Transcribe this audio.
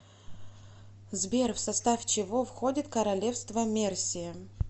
сбер в состав чего входит королевство мерсия